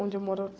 Onde eu moro